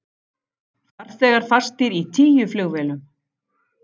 Farþegar fastir í tíu flugvélum